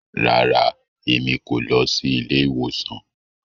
Rara, Èmí kò lọ sí ilé-ìwòsàn